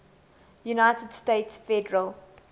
united states federal